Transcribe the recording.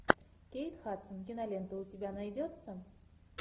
кейт хадсон кинолента у тебя найдется